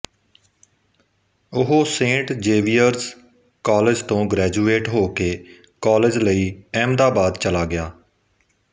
ਉਹ saint Xavier's college ਤੋਂ graduate ਹੋ ਕੇ ਕਾਲਜ ਲਈ ਅਹਿਮਦਾਬਾਦ ਚਲਾ ਗਿਆ